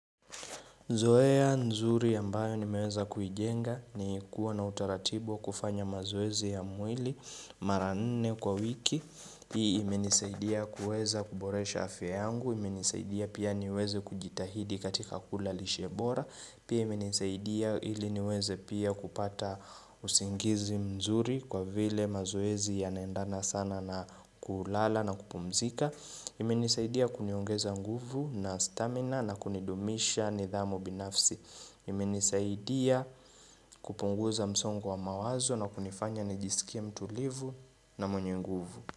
Zoea nzuri ya ambayo nimeweza kujenga ni kuwa na utaratibo wa kufanya mazoezi ya mwili mara nne kwa wiki. Hii imenisaidia kuweza kuboresha afya yangu, imenisaidia pia niweze kujitahidi katika kula lishe bora. Pia imenisaidia ili niweze pia kupata usingizi mzuri kwa vile mazoezi yana endana sana na kulala na kupumzika. Imenisaidia kuniongeza nguvu na stamina na kunidumisha nidhamu binafsi. Imenisaidia kupunguza msongo wa mawazo na kunifanya nijisikie mtulivu na mwenye nguvu.